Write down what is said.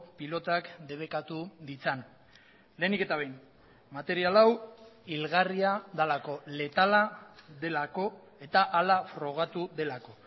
pilotak debekatu ditzan lehenik eta behin material hau hilgarria delako letala delako eta hala frogatu delako